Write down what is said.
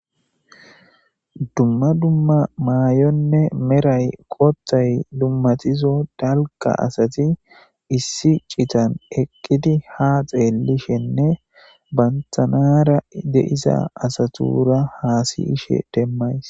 Dumma dumma mayonne merayi qothay dummatizo dalga asati issi citan eqidi ha xelishenne bantara de'iza asatura hasiyishe demayis